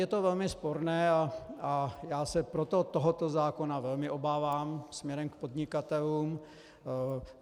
Je to velmi sporné, a já se proto tohoto zákona velmi obávám směrem k podnikatelům.